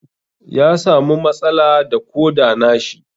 Ya samu matsala da Koda na shi.